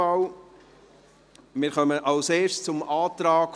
Wir kommen zuerst zum Antrag